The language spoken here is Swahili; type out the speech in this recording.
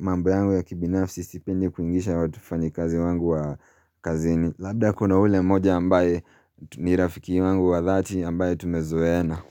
mambo yangu ya kibinafsi sipendi kuingisha watufanyikazi wangu wa kazini. Labda kuna ule moja ambaye ni rafiki wangu wa dhati ambaye tumezoena.